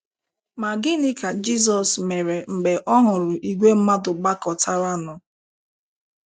Ma gịnị ka Jizọs mere mgbe ọ hụrụ ìgwè mmadụ gbakọtaranụ?